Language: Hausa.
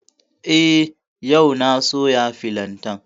Eh, yau na soya filantan